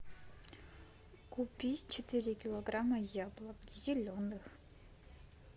купи четыре килограмма яблок зеленых